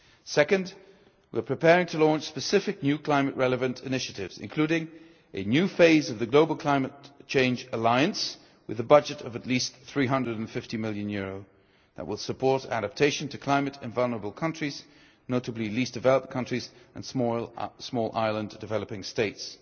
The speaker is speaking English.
Second, we are preparing to launch specific new climate relevant initiatives, including a new phase of the Global Climate Change Alliance with a budget of at least EUR 350 million that will support adaptation to climate in vulnerable countries, notably least developed countries and small island developing states.